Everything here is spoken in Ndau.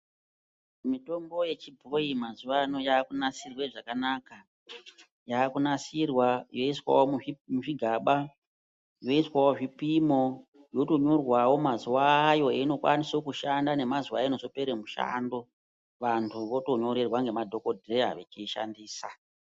Mitombo yechibhoyi mazuwa ano yaakunasirwe zvakanaka. Yaakunasirwa yoiswawo muzvigaba, yoiswawo zvipimo yotonyorwawo mazuwa ayo einokwanisa kushanda nemazuwa einozopera mushando. Vanthu votonyorerwa ngemadhokodheya vechiishandisa.